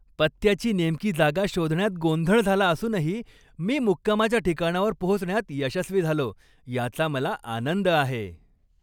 पत्त्याची नेमकी जागा शोधण्यात गोंधळ झाला असूनही, मी मुक्कामाच्या ठिकाणावर पोहोचण्यात यशस्वी झालो याचा मला आनंद आहे.